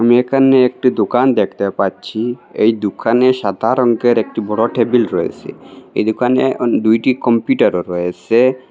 এখানে একটি দুকান দেখতে পারছি এই দুকানে সাদা রঙের একটি বড় টেবিল রয়েছে এই দুকানে অন দুইটি কম্পিউটারও রয়েছে।